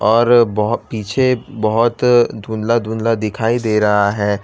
और बहो पीछे बहुत धुंधला धुंधला दिखाई दे रहा है।